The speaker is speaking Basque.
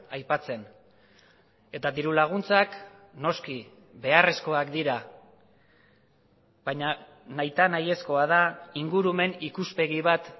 aipatzen eta dirulaguntzak noski beharrezkoak dira baina nahita nahi ezkoa da ingurumen ikuspegi bat